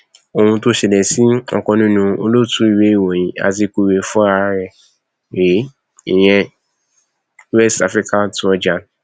ohun tó ṣẹlẹ sí ọkan nínú olótùú ìwé ìròyìn azikiwe fúnra ẹ rèé ìyẹn west african trojan